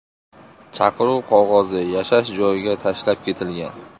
Chaqiruv qog‘ozi yashash joyiga tashlab ketilgan.